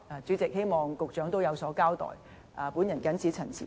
主席，我希望局長有所交代。